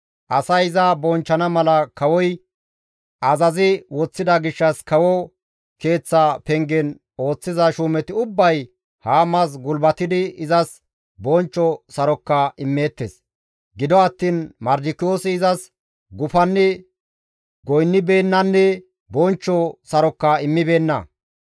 Asay iza bonchchana mala kawoy azazi woththida gishshas kawo keeththa pengen ooththiza shuumeti ubbay Haamas gulbatidi izas bonchcho saroka immeettes. Gido attiin Mardikiyoosi izas gufanni goynnibeennanne bonchcho saroka immibeenna.